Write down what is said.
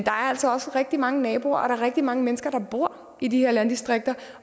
er altså også rigtig mange naboer og der er rigtig mange mennesker der bor i de her landdistrikter